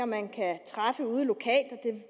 man kan træffe ude lokalt